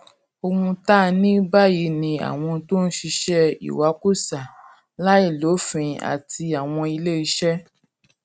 ohun tá a ní báyìí ni àwọn tó ń ṣiṣé ìwakùsà láìlófin àti àwọn ilé iṣé